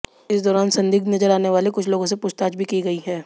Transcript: इस दौरान संदिग्ध नजर आने वाले कुछ लोगों से पूछताछ भी की गई